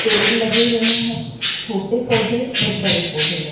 पेड़ लगे हुए हैं छोटे पौधे और बड़े पौधे ल--